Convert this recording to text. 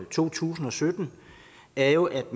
to tusind og sytten er jo at